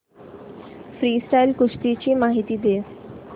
freestyle कुस्ती ची माहिती दे